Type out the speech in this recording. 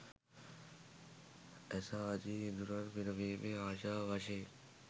ඇස ආදි ඉඳුරන් පිනවීමේ ආශාව වශයෙන්